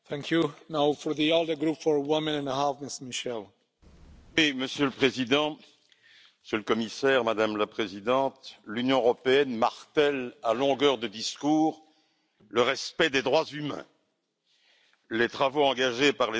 Monsieur le Président, Monsieur le Commissaire, Madame la Présidente, l'Union européenne martèle à longueur de discours qu'il faut respecter les droits humains. Les travaux engagés par les Nations unies depuis quatre ans maintenant il faut quand même le rappeler, Monsieur le Commissaire!